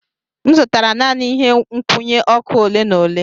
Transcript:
M zụtara naanị ihe nkwụnye ọkụ ole na ole.